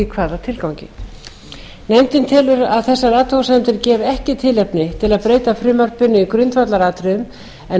hvaða tilgangi nefndin telur að þessar athugasemdir gefi ekki tilefni til að breyta frumvarpinu í grundvallaratriðum en